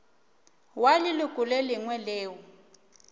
wa leloko le lengwe leo